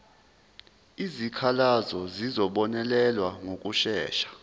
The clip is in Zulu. izikhalazo zizobonelelwa ngokushesha